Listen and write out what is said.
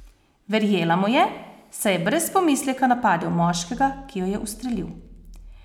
Verjela mu je, saj je brez pomisleka napadel moškega, ki jo je ustrelil.